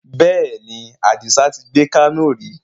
Bẹ́ẹ̀ni, Adisa tí gbé Kano ri